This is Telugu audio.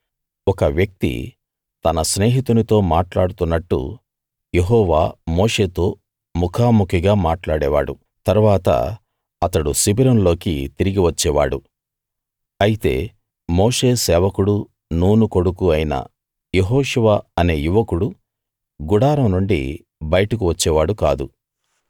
ఒక వ్యక్తి తన స్నేహితునితో మాట్లాడుతున్నట్టు యెహోవా మోషేతో ముఖాముఖీగా మాట్లాడేవాడు తరువాత అతడు శిబిరంలోకి తిరిగి వచ్చేవాడు అయితే మోషే సేవకుడు నూను కొడుకు అయిన యెహోషువ అనే యువకుడు గుడారం నుండి బయటకు వచ్చేవాడు కాదు